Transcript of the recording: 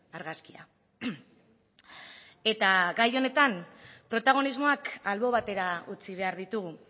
argazkia eta gai honetan protagonismoak albo batera utzi behar ditugu